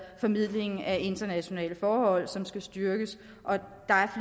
formidling af internationale forhold som skal styrkes og der